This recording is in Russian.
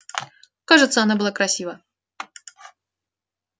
кажется она была красива